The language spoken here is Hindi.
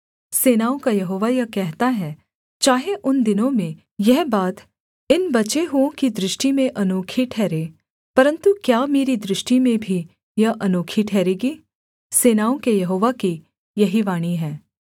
सेनाओं का यहोवा यह कहता है चाहे उन दिनों में यह बात इन बचे हुओं की दृष्टि में अनोखी ठहरे परन्तु क्या मेरी दृष्टि में भी यह अनोखी ठहरेगी सेनाओं के यहोवा की यही वाणी है